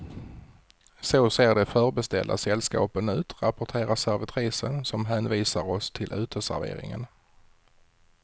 Så ser de förbeställda sällskapen ut, rapporterar servitrisen som hänvisar oss till uteserveringen.